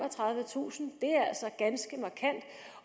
tusind